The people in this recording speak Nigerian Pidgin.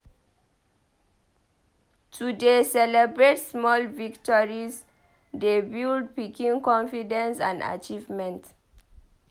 To dey celebrate small victories dey build pikin confidence and achievement.